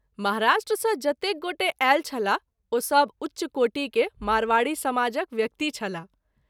महाराष्ट्र सँ जतेक गोटे आयल छलाह ओ सभ उच्च कोटि के मारवाड़ी समाजक व्यक्ति छलाह।